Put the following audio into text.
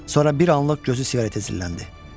Sonra bir anlıq gözü siqaretə zilləndi.